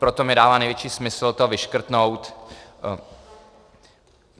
Proto mi dává největší smysl to vyškrtnout.